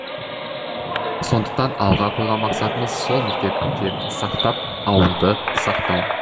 сондықтан алға қойған мақсатымыз сол мектептерді сақтап ауылды сақтау